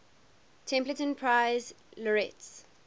templeton prize laureates